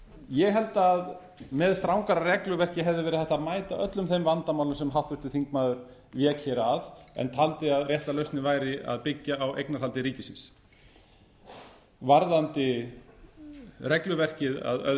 ég held að með strangara regluverki hefði verið hægt að mæta öllum þeim vandamálum sem háttvirtur þingmaður vék hér að en taldi að rétta lausnin væri að byggja á eignarhaldi ríkisins varðandi regluverkið að öðru